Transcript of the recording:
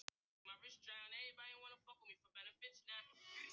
Vertu velkomin Guðbjörg litla, sagði afi og angaði af tóbaki.